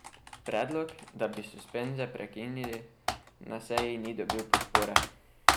Predlog, da bi suspenze prekinili, na seji ni dobil podpore.